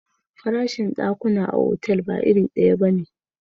Farashin dakuna a otal ba iri daya bane.